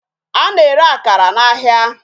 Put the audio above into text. A na-ere akara n'ahịa.